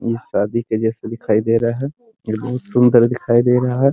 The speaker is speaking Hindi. ये शादी के जैसे दिखाई दे रहा है ये बहुत सुन्दर दिखाई दे रहा है ।